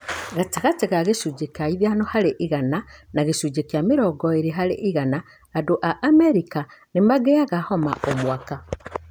Gatagatĩ wa gĩcunjĩ kĩa ithano harĩ igana na gĩcunjĩ kĩ mĩrongo ĩrĩ harĩ igana andũ a amerika nĩ mangĩanga homa o mwaka.